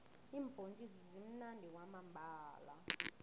iimbhontjisi zimunandi kwamambhala